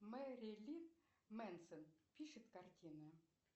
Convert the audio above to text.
мэрлин менсон пишет картины